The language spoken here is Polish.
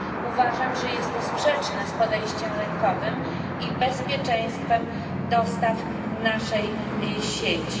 Uważam, że jest to sprzeczne z podejściem rynkowym i bezpieczeństwem dostaw naszej sieci.